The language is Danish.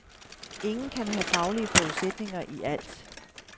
Ingen kan have faglige forudsætninger i alt.